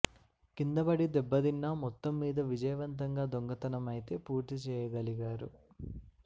కిందపడి దెబ్బతిన్నా మొత్తం మీద విజయవంతంగా దొంగతనం అయితే పూర్తి చేయగలిగారు